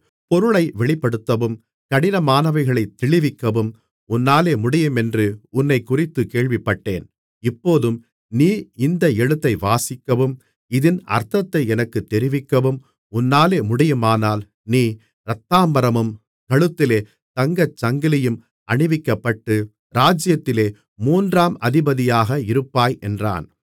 பொருளை வெளிப்படுத்தவும் கடினமானவைகளைத் தெளிவிக்கவும் உன்னாலே முடியுமென்று உன்னைக்குறித்துக் கேள்விப்பட்டேன் இப்போதும் நீ இந்த எழுத்தை வாசிக்கவும் இதின் அர்த்தத்தை எனக்குத் தெரிவிக்கவும் உன்னாலே முடியுமானால் நீ இரத்தாம்பரமும் கழுத்திலே தங்கச்சங்கிலியும் அணிவிக்கப்பட்டு ராஜ்ஜியத்திலே மூன்றாம் அதிபதியாக இருப்பாய் என்றான்